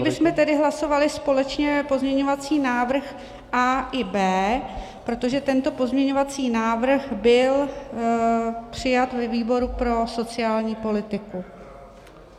Nyní bychom tedy hlasovali společně pozměňovací návrh A i B, protože tento pozměňovací návrh byl přijat ve výboru pro sociální politiku.